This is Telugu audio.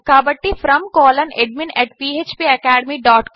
కాబట్టి From అడ్మిన్ phpacademycom